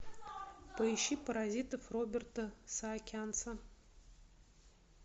поищи паразитов роберта саакянца